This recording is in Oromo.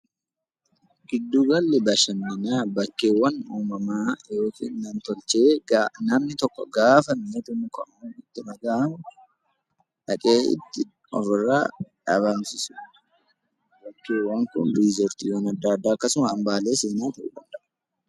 Giddu galli bashannanaa bakkeewwan uumamaa fi nam-tolchee namni tokko gaafa wanti tokko itti dhagahamu dhaqee ofirraa baasisu akkasuma hambaalee seenaa ta'uu danda'a.